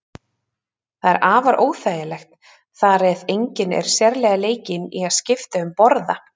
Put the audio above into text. Það er afar óþægilegt þar eð enginn er sérlega leikinn í að skipta um borða.